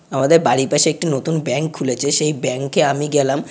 আমাদের বাড়ির পাশে একটি নতুন ব্যাঙ্ক খুলেছে সেই ব্যাঙ্ক -এ আমি গেলাম।